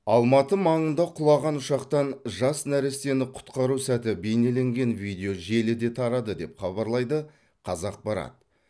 алматы маңында құлаған ұшақтан жас нәрестені құтқару сәті бейнеленген видео желіде тарады деп хабарлайды қазақпарат